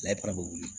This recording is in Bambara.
Layitara bɛ wuli